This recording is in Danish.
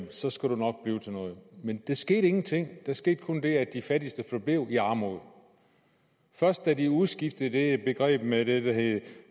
så skal du nok blive til noget men der skete ingenting der skete kun det at de fattigste forblev i armod først da de udskiftede det begreb med det der hed